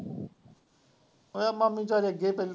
ਉਹ ਮਾਮੀ ਤਾਂ ਅੱਗੇ ਪਹਿਲਾਂ